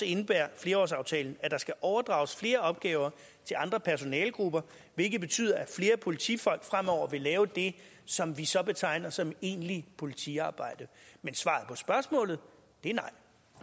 indebærer flerårsaftalen at der skal overdrages flere opgaver til andre personalegrupper hvilket betyder at flere politifolk fremover vil lave det som vi så betegner som egentlig politiarbejde men svaret på spørgsmålet er